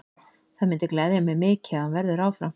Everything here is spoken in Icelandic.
Það myndi gleðja mig mikið ef hann verður áfram.